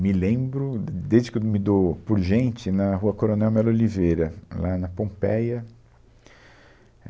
Me lembro, de desde que me dou por gente, na Rua Coronel Melo Oliveira, lá na Pompeia.